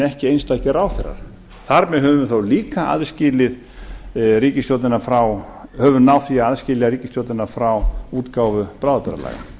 ekki einstakir ráðherrar þar með höfum við þá líka náð því að aðskilja ríkisstjórnina frá útgáfu bráðabirgðalaga